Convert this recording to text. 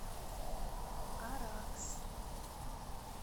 аракс